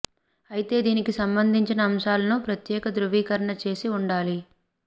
అయితే దీనికి సంబంధించిన అంశాలను ప్రత్యేక ధృవీకరణ చేసి ఉండాలి